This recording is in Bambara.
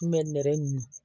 N kun bɛ nɛgɛ ɲin